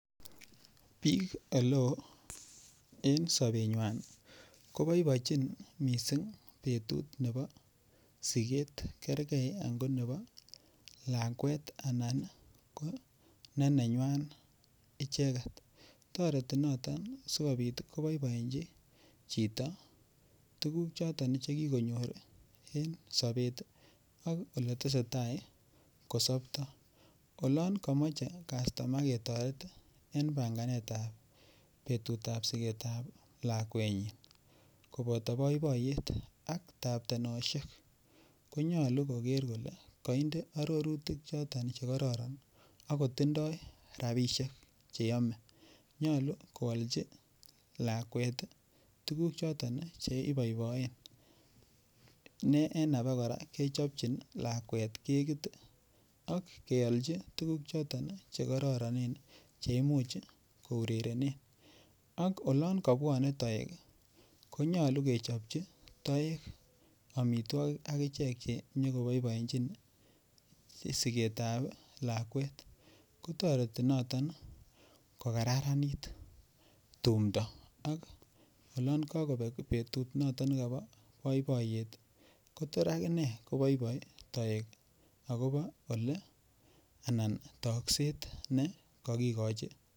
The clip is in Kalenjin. Biik ole oo en sobenywai koboiboichin mising' betut nebo siket kergei ango nebo lakwet anan ko nenenywai icheget toreti noton sikobit koboibochin chito tukuk choton chekikonyor en sobet ak ole tesei tai kosoptoi olon kamache kastoma ketoret en banganetab betutab siketab lakwenyi koboto boiboiyet ak taptanoshek konyolu koker kole kainde arorutik chotok chekororon akotindoi rabishek cheomei nyolu koolji lakwet tukuk choton cheiboiboen ne en ake kora kechopchin lakwet kekit ak keoljin tukuk choton chekororonen che imuuch kourerene ak olon kabwonei toek konyolu kechopchi toek omitwokik akichek che nyikoboiboichin siketab lakwet kotoreti noton kokararanit tumdo ak olon kakobek betut noton nebo boiboiyet kotor akine koboiboi toek akobo ole anan tokset ne kakikochi